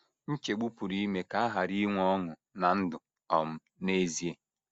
Nchegbu pụrụ ime ka a ghara inwe ọṅụ ná ndụ um n’ezie.